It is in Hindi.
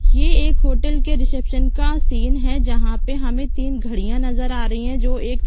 ये एक होटल के रिसेप्शन का सीन है जहाँ पे हमे तीन घड़ियाँ नज़र आ रही है जो एक--